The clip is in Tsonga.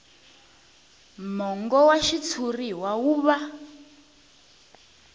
mongo wa xitshuriwa wu va